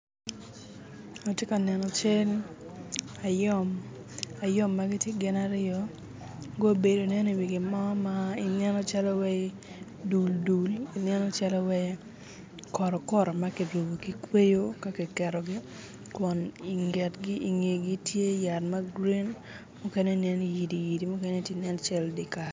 Atye ka neno cal ayom, ayom ma tye gin aryo gubedo nen i wi gimo mo ma ineno calo wai dul dul ineno calo i wai koto koto ma ki rubo ki kweyo ka ki ketogi kun i ngetgi i ngegi tye yat ma gurin mukene nen yidi yidi mukene tye nen calo dyer kal